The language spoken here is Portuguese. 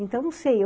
Então, não sei.